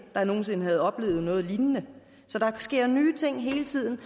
der nogen sinde havde oplevet noget lignende så der sker hele tiden